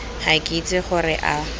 ga ke itse gore a